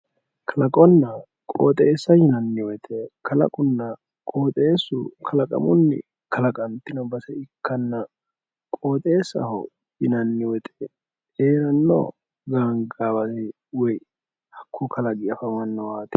kalaqonna qooxeessa yinanniwote kalaqunna qooxeesu kalaqamunni kalaqantiyo base ikkanna qoxeessaho yinaanniwote heeranno gangaawa woy hakku kalaqi afamannowaati